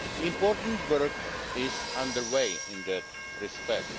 Important work is under way in that respect.